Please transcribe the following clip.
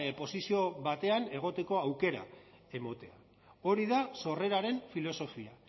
posizio batean egoteko aukera ematea hori da sorreraren filosofia